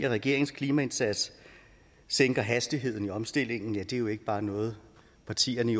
regeringens klimaindsats sænker hastigheden i omstillingen ja det er jo ikke bare noget partierne i